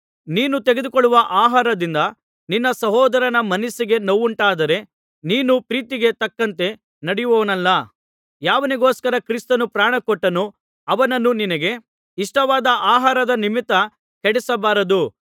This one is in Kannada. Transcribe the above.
ನೀನು ತೆಗೆದುಕೊಳ್ಳುವ ಆಹಾರದಿಂದ ನಿನ್ನ ಸಹೋದರನ ಮನಸ್ಸಿಗೆ ನೋವುಂಟಾದರೆ ನೀನು ಪ್ರೀತಿಗೆ ತಕ್ಕಂತೆ ನಡೆಯುವವನಲ್ಲ ಯಾವನಿಗೋಸ್ಕರ ಕ್ರಿಸ್ತನು ಪ್ರಾಣಕೊಟ್ಟನೋ ಅವನನ್ನು ನಿನಗೆ ಇಷ್ಟವಾದ ಆಹಾರದ ನಿಮಿತ್ತ ಕೆಡಿಸಬಾರದು